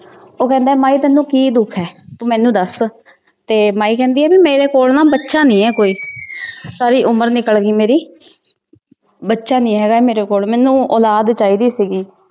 ਉਹ ਕਹਿੰਦਾ ਮਾਈ ਤੈਨੂੰ ਕੀ ਦੁੱਖ ਐ? ਤੂੰ ਮੈਨੂੰ ਦਸ ਤੇ ਮਾਈ ਕਹਿੰਦੀ ਐ ਮੇਰੇ ਕੋਲ ਨਾ ਬੱਚਾ ਨੀ ਹੈ ਕੋਈ ਸਾਰੀ ਉਮਰ ਨਿਕਲ ਗਈ ਮੇਰੀ ਬੱਚਾ ਨਹੀਂ ਹੈਗਾ ਮੇਰੇ ਕੋਲ ਮੈਨੂੰ ਔਲਾਦ ਚਾਹੀਦੀ ਸੀਗੀ।